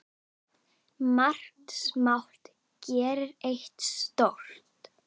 Margt smátt gerir eitt stórt!